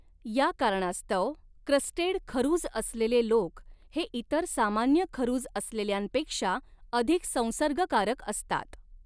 या कारणास्तव क्रस्टेड खरुज असलेले लोक हे इतर सामान्य खरुज असलेल्यांपेक्षा अधिक संसर्गकारक असतात.